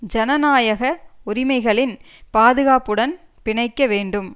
ஜனநாயக உரிமைகளின் பாதுகாப்புடன் பிணைக்க வேண்டும்